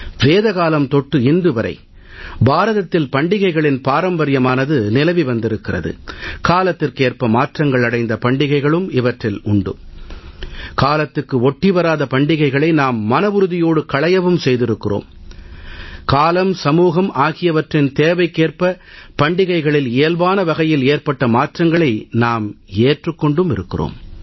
வேத காலம் தொட்டு இன்று வரை பாரதத்தில் பண்டிகைகளின் பாரம்பரியமானது நீடித்து வந்திருக்கிறது காலத்துக்கேற்ப மாற்றங்கள் அடைந்த பண்டிகைகளும் இவற்றில் உண்டு காலத்துக்கு ஒட்டி வராத பண்டிகைகளை நாம் மனவுறுதியோடு களையவும் செய்திருக்கிறோம் காலம் சமூகம் ஆகியவற்றின் தேவைக்கேற்ப பண்டிகைகளில் இயல்பான வகையில் ஏற்பட்ட மாற்றங்களை நாம் ஏற்றுக் கொண்டும் இருக்கிறோம்